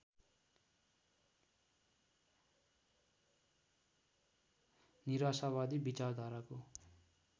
निराशावादी विचारधाराको